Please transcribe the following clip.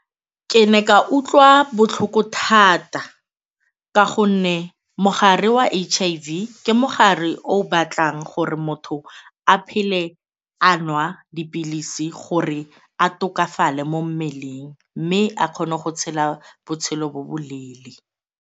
Ke ne ka utlwa botlhoko thata ka gonne mogare wa H_I_V ke mogare o o batlang gore motho a phele a nwa dipilisi gore a tokafale mo mmeleng mme a kgone go tshela botshelo bo bo leele.